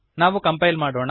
ನಾವು ಕಂಪೈಲ್ ಮಾಡೋಣ